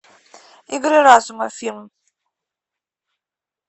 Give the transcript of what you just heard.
игры разума фильм